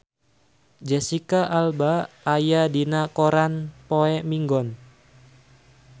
Jesicca Alba aya dina koran poe Minggon